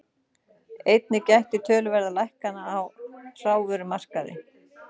Einnig gætti töluverða lækkana á hrávörumarkaði